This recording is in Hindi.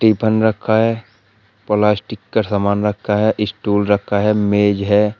टिफन रखा है प्लास्टिक का सामान रखा है स्टूल रखा है मेज है।